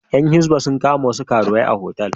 Ƴan hisba sun kama wasu karuwai a otal.